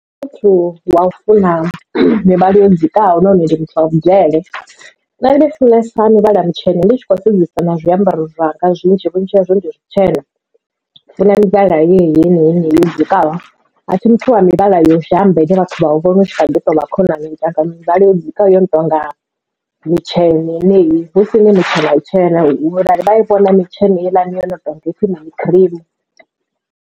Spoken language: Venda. Nṋe ndi muthu wa u funa mivhala yo dzikaho nahone ndi muthu wa vhudele nṋe ndi funesa muvhala mutshena ndi tshi kho sedzesa na zwiambaro zwanga zwinzhi vhunzhi hazwo ndi zwitshena ndi funa mivhala heneyi yo dzikaho a thi muthu wa mivhala yo dzhamba ine vhathu vha u vhona u tshi kha ḓi tovha khonani ndi nyaga mivhala yo dzikaho yo no tonga mitshena heneyi hu sini mitshena tshena vha i vhona mitshelo helani yo no tonga ipfhi mini cream.